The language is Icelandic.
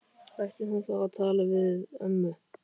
Ætti hún þá að tala við ömmu?